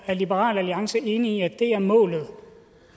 er liberal alliance enig i at det er målet